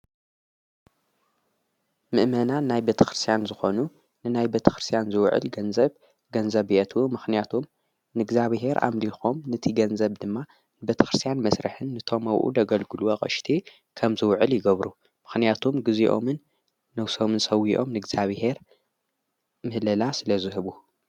ምእመና ናይ በተ ክርስያን ዝኾኑ ንናይ በቲ ክርስያን ዝውዕል ገንዘብ ገንዘብቱ ምኽንያቱም ንእግዚኣብሔር ኣምሊኾም ነቲ ገንዘብ ድማ በቲ ክርስያን መሥርሕን ንቶም ኣብኡ ደገልግሉ ኣቐሽቲ ከም ዝውዕል ይገብሩ ምኽንያቱም ጊዜኦምን ነውሶሙን ሰዊኦም ንግዚኣብሔር ምህለላ ስለ ዙህቡ።